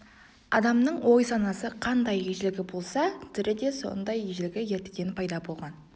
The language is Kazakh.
адамның ой-санасы қандай ежелгі болса тілі де сондай ежелгі ертеден пайда болған